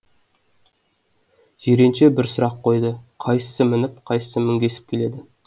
жиренше бір сұрақ қойды қайсысы мініп қайсысы мінгесіп келеді